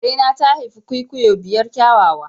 Karena ta haifi kwikwiyo biyar kyawawa.